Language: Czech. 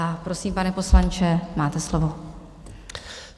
A prosím, pane poslanče, máte slovo.